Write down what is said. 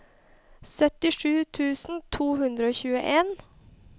syttisju tusen to hundre og tjueen